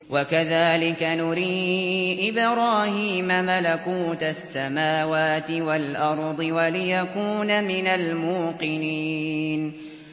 وَكَذَٰلِكَ نُرِي إِبْرَاهِيمَ مَلَكُوتَ السَّمَاوَاتِ وَالْأَرْضِ وَلِيَكُونَ مِنَ الْمُوقِنِينَ